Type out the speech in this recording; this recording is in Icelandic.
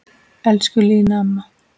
Elsku Lína amma.